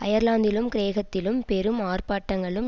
அயர்லாந்திலும் கிரேக்கத்திலும் பெரும் ஆர்ப்பாட்டங்களும்